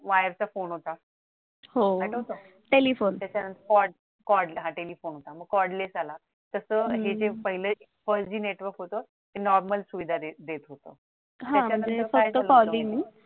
वाल्याचा phone होता हो आठवत त्याच्यानंतर कॉडला हा टेलिफोनला मग cod less आला तस हे जे four G network होत ते normal सुविधा देत होत